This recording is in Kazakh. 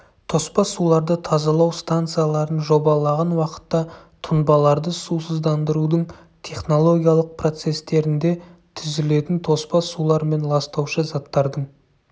тоспа суларды тазалау станцияларын жобалаған уақытта тұнбаларды сусыздандырудың технологиялық процесстерінде түзілетін тоспа сулар мен ластаушы заттардың